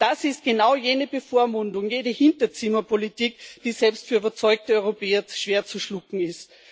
Das ist genau jene Bevormundung, jene Hinterzimmerpolitik, die selbst für überzeugte Europäer schwer zu schlucken ist.